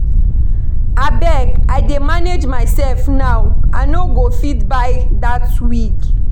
Abeg I dey manage myself now I no go fit buy dat wig